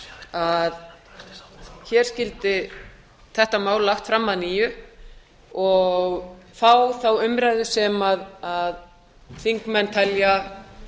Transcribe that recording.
að hér skyldi þetta mál lagt fram að nýju og fá þá umræðu sem þingmenn telja